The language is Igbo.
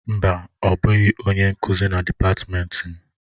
Mba, ọ bụghị onye nkuzi na dịpatmenti m.